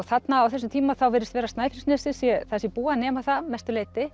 þarna á þessum tíma þá virðist vera að Snæfellsnesið sé það sé búið að nema það að mestu leyti